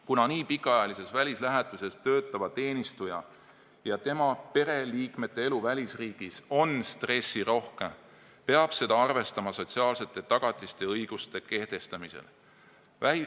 Kuna pikaajalises välislähetuses töötava teenistuja ja tema pereliikmete elu välisriigis on stressirohke, peab seda arvestama sotsiaalsete tagatiste ja õiguste kehtestamisel.